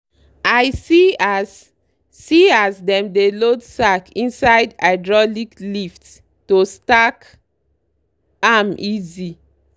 i see as see as dem dey load sack inside hydraulic lift to stack am easy.